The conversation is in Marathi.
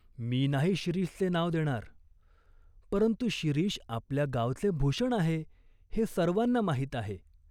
मी नाही शिरीषचे नाव देणार." "परंतु शिरीष आपल्या गावचे भूषण आहे हे सर्वांना माहीत आहे.